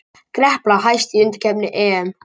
Gerpla hæst í undankeppni EM